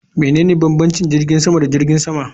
Menene bambanci tsakanin jirgin sama da jirgin sama?